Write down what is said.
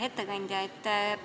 Hea ettekandja!